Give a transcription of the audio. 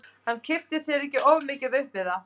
Hann kippti sér ekki of mikið upp við það.